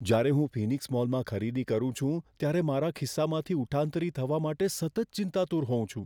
જ્યારે હું ફિનિક્સ મોલમાં ખરીદી કરું છું, ત્યારે મારા ખિસ્સામાંથી ઉઠાંતરી થવા માટે સતત ચિંતાતુર હોઉં છું.